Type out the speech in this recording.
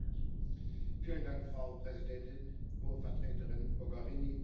Frau Präsidentin, Hohe Vertreterin Mogherini, meine Damen und Herren!